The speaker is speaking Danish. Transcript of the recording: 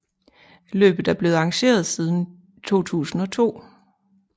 Løbet er blevet arrangeret siden 2002